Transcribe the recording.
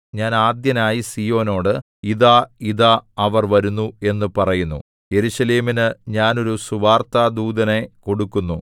ഞാൻ ആദ്യനായി സീയോനോട് ഇതാ ഇതാ അവർ വരുന്നു എന്നു പറയുന്നു യെരൂശലേമിനു ഞാൻ ഒരു സുവാർത്താദൂതനെ കൊടുക്കുന്നു